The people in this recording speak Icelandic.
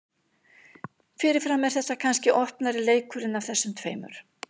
Fyrirfram er þetta kannski opnari leikurinn af þessum tveimur.